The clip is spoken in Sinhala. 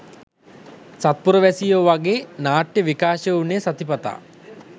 සත්පුරවැසියෝ වගේ නාට්‍ය විකාශය වුණේ සතිපතා.